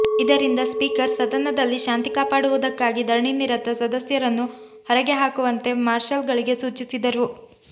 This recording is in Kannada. ಇದರಿಂದ ಸ್ಪೀಕರ್ ಸದನದಲ್ಲಿ ಶಾಂತಿ ಕಾಪಾಡುವುದಕ್ಕಾಗಿ ಧರಣಿನಿರತ ಸದಸ್ಯರನ್ನು ಹೊರಗೆ ಹಾಕುವಂತೆ ಮಾರ್ಷಲ್ಗಳಿಗೆ ಸೂಚಿಸಿದರು